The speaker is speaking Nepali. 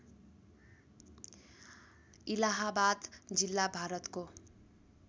इलाहाबाद जिल्ला भारतको